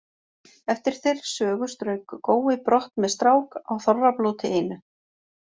Eftir þeirri sögu strauk Gói brott með strák á Þorrablóti einu.